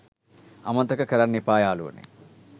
අමතක කරන්න එපා යාලුවනේ